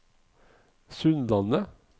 Sundlandet